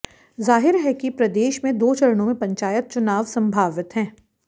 जाहिर है कि प्रदेश में दो चरणों में पंचायत चुनावा संभावित हैं